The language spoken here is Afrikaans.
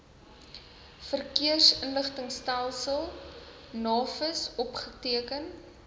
verkeersinligtingstelsel navis opgeteken